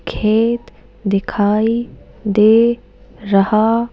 खेत दिखाई दे रहा--